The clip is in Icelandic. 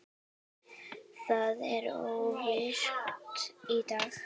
Það er óvirkt í dag.